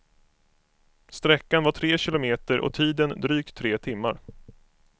Sträckan var tre kilometer och tiden drygt tre timmar.